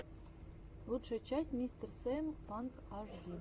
лучшая часть мистер сиэм панк ашди